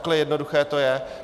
Takhle jednoduché to je.